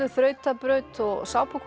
þrautabraut og